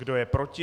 Kdo je proti?